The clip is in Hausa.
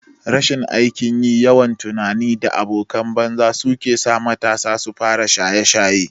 Rashin aikin yi, yawan tunani da abokan banza su kesa matasa sufara shaye shaye